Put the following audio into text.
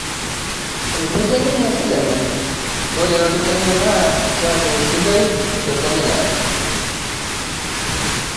Etejo ninye Zidane ore elototo enye naa kiaku sidai tepookin ng'ae